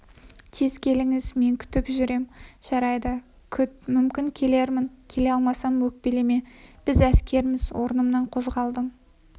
тез келіңіз мен күтіп жүрем жарайды күт мүмкін келермін келе алмасам өкпелеме біз әскерміз орнымнан қозғалдым